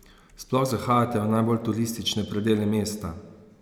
Sploh zahajate v najbolj turistične predele mesta?